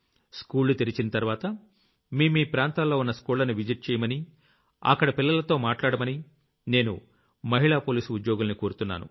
స్కూళ్లు తెరిచిన తర్వాత మీమీ ప్రాంతాల్లో ఉన్న స్కూళ్లని విజిట్ చెయ్యమని అక్కడ పిల్లలతో మాట్లాడమని నేను మహిళా పోలీసు ఉద్యోగుల్ని కోరుతున్నాను